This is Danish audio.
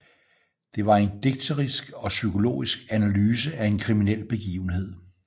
Det var en digterisk og psykologisk analyse af en kriminel begivenhed